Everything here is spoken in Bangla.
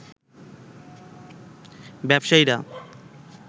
ব্যবসায়ীরা